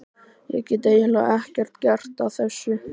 Ég get eiginlega ekkert gert að þessu.